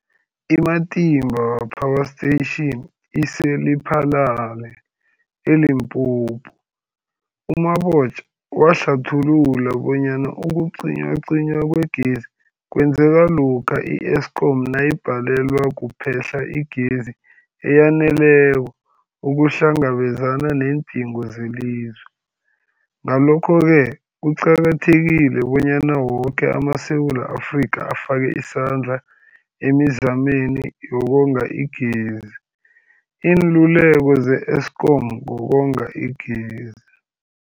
I-Matimba Power Station ise-Lephalale, eLimpopo. U-Mabotja wahlathulula bonyana ukucinywacinywa kwegezi kwenzeka lokha i-Eskom nayibhalelwa kuphe-hla igezi eyaneleko ukuhlangabezana neendingo zelizwe. Ngalokho-ke kuqakathekile bonyana woke amaSewula Afrika afake isandla emizameni yokonga igezi. Iinluleko ze-Eskom ngokonga igezi.